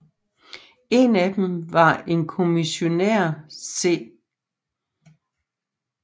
En af dem var en kommissionær C